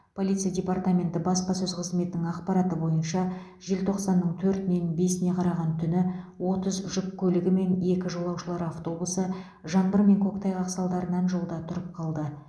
полиция департаменті баспасөз қызметінің ақпараты бойынша желтоқсанның төртінен бесіне қараған түні отыз жүк көлігі мен екі жолаушылар автобусы жаңбыр мен көктайғақ салдарынан жолда тұрып қалды